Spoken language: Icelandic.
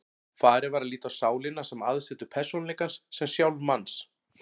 Farið var að líta á sálina sem aðsetur persónuleikans, sem sjálf manns.